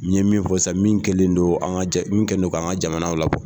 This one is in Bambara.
N ye min fɔ san min kɛlen don an ka ja, min kɛlen don an ka jamana labɔ.